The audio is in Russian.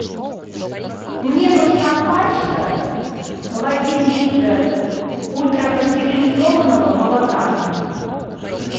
мне нужна пачка в один литр ультрапастеризованного молока